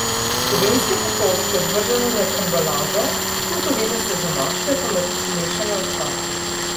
Kovinske pokrovčke odvržemo med embalažo, plutovinaste zamaške pa med mešane odpadke.